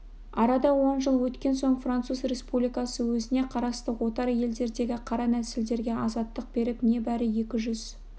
арада он жыл өткен соң француз республикасы өзіне қарасты отар елдердегі қара нәсілділерге азаттық беріп небәрі екі жүз